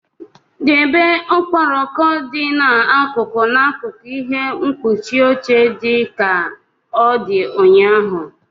Debe okporoko dị n'akụkụ n'akụkụ ihe mkpuchi oche dị ka ọ dị ụnyaahụ!